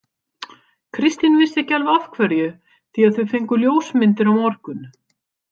Kristín vissi ekki alveg af hverju því að þau fengju ljósmyndir á morgun.